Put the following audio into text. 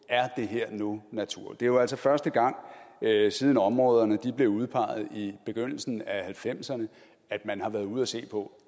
nu natur det er jo altså første gang siden områderne blev udpeget i begyndelsen af nitten halvfemserne at man har været ude at se på